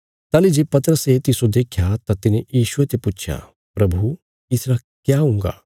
ताहली जे पतरसे तिस्सो देख्या तां तिने यीशुये ते पुच्छया प्रभु इसरा क्या हुंगा